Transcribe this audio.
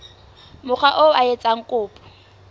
mokga oo a etsang kopo